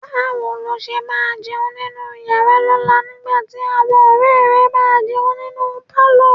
Báwo ló ṣe máa jẹun nínú yàrá lọ́la nígbà tí àwọn ọ̀rẹ́ẹ̀ rẹ máa jẹun ní pálọ̀?